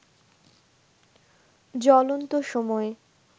জ্বলন্ত সময়